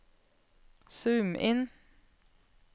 zoom inn